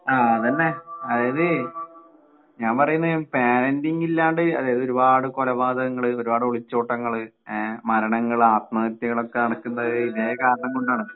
ആഹ് അതെന്നെ അതായത് ഞാൻ പറയുന്നെ പാരന്റിങ് ഇല്ലാണ്ട് അതായത് ഒരുപാട് കൊലപാതങ്ങള് ഒരുപാട് ഒളിച്ചോട്ടങ്ങള് ഏഹ് മരണങ്ങള് ആത്മഹത്യകളൊക്കെ നടക്കുന്നത് ഇതേ കാരണം കൊണ്ടാണ്.